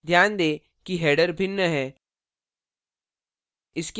ध्यान दें कि header भिन्न है